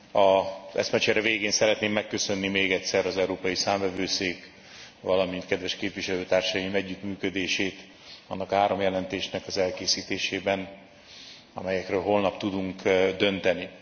Az eszmecsere végén szeretném megköszönni még egyszer az Európai Számvevőszék, valamint kedves képviselőtársaim együttműködését annak a három jelentésnek az elkészítésében, amelyekről holnap tudunk dönteni.